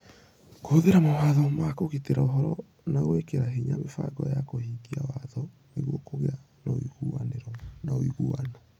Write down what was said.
Kũhũthĩra mawatho ma kũgitĩra ũhoro na gwĩkĩra hinya mĩbango ya kũhingia watho nĩguo kũgĩe na ũigananĩru na ũiguano.